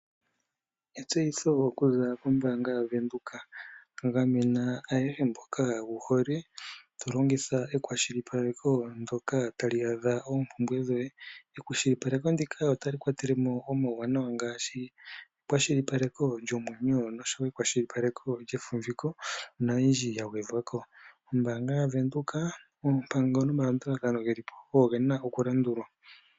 Etseyitho okuza kombaanga ya Venduka. Gamena ayehe mboka wu hole, to longitha ekwashilipakeko ndoka tali adha oompumbwe dhoye. Ekwashilipakeko ndika otali kwatele mo omawuwanawa ngaashi ekwashilipakeko lyomwenyo, oshowo ekwashilipakeko lyefumbiko noyindji ya gwedhwa ko kombaanga ya Venduka. Oompango nomalandulathano geli po ogo gena okulandulwa.